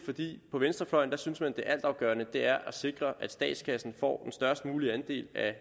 på venstrefløjen synes man at det altafgørende er at sikre at statskassen får den størst mulige andel af